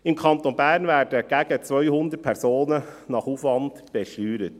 Im Kanton Bern werden gegen 200 Personen nach Aufwand besteuert.